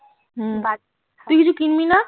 তুই কিছু কিনবি না?